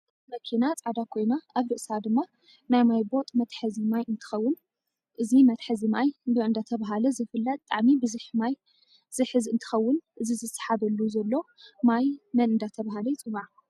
እዚመኪና ፃዕዳ ኮይና ኣብ ርእስኣ ድማ ናይ ማይ ቦጥ መተሕዚ ማይ እንትከውን እዚ መተሕዚ ማይ በ እደተበሃለ ዝፍለይ ብጣዓሚ ብዝሕ ማይ ዝሕዝ እንትከውን እቲዝሳሓበሉ ዘሎ ማይ መን እደተበሃለ ይፅዋዕ?